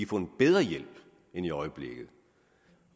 får en bedre hjælp end i øjeblikket